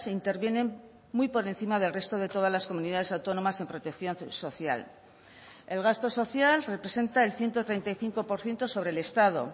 intervienen muy por encima del resto de todas las comunidades autónomas en protección social el gasto social representa el ciento treinta y cinco por ciento sobre el estado